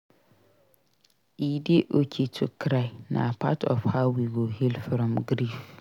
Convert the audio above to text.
E dey okay to cry; na part of how we go heal from grief.